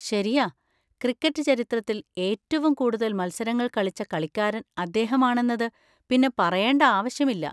ശരിയാ. ക്രിക്കറ്റ് ചരിത്രത്തിൽ ഏറ്റവും കൂടുതൽ മത്സരങ്ങൾ കളിച്ച കളിക്കാരൻ അദ്ദേഹമാണെന്നത് പിന്നെ പറയേണ്ട ആവശ്യമില്ല.